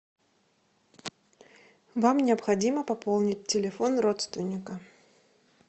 вам необходимо пополнить телефон родственника